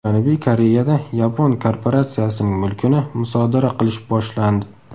Janubiy Koreyada yapon korporatsiyasining mulkini musodara qilish boshlandi.